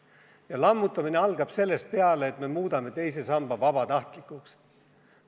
Ja lammutamine algab sellest peale, et me muudame teise samba vabatahtlikuks.